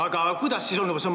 Aga kuidas siis nii?